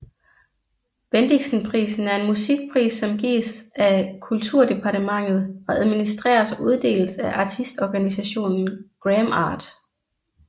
Bendiksenprisen er en musikpris som gives af kulturdepartementet og administreres og uddeles af artistorganisationen GramArt